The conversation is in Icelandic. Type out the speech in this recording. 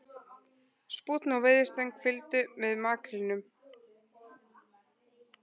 Spúnn og veiðistöng fylgdu með makrílnum